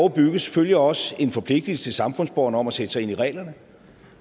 bygges følger også en forpligtelse til samfundsborgerne om at sætte sig ind i reglerne